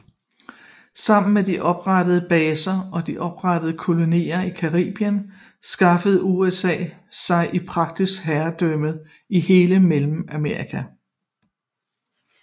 Sammen med de oprettede baser og de oprettede kolonier i Caribien skaffede USA sig i praksis overherredømme i hele Mellemamerika